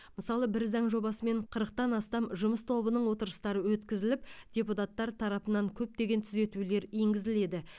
мысалы бір заң жобасымен қырықтан астам жұмыс тобының отырыстары өткізіліп депутаттар тарапынан көптеген түзетулер енгізіледі